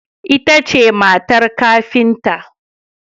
Ita ce matar kafintan.